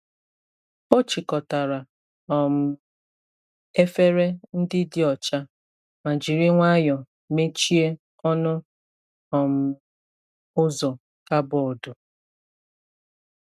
Ọ chịkọtara um efere ndị dị ọcha ma jiri nwayọọ mechie ọnụ um ụzọ kabọọdụ.